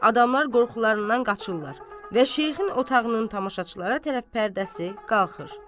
Adamlar qorxularından qaçırlar və şeyxin otağının tamaşaçılara tərəf pərdəsi qalxır.